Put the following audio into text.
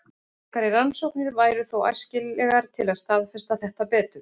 Frekari rannsóknir væru þó æskilegar til að staðfesta þetta betur.